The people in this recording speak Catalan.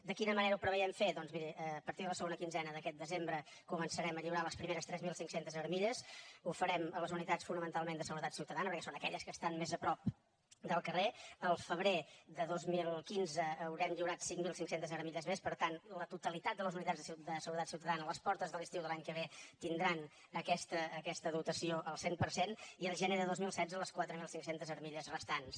de quina manera ho preveiem fer doncs miri a partir de la segona quinzena d’aquest desembre començarem a lliurar les primeres tres mil cinc cents armilles ho farem a les unitats fonamentalment de seguretat ciutadana perquè són aquelles que estan més a prop del carrer el febrer de dos mil quinze haurem lliurat cinc mil cinc cents armilles més per tant la totalitat de les unitats de seguretat ciutadana a les portes de l’estiu de l’any que ve tindran aquesta dotació al cent per cent i el gener de dos mil setze les quatre mil cinc cents armilles restants